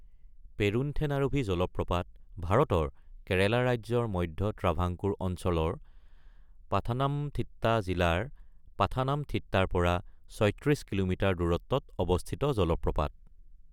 পেৰুন্থেনাৰুভি জলপ্ৰপাত ভাৰতৰ কেৰেলা ৰাজ্যৰ মধ্য ট্ৰাভানকোৰ অঞ্চলৰ পাথানামথিট্টা জিলাৰ পাথানামথিট্টাৰ পৰা ৩৬ কিলোমিটাৰ দূৰত্বত অৱস্থিত জলপ্ৰপাত।